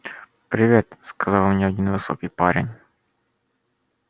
привет сказал мне один высокий парень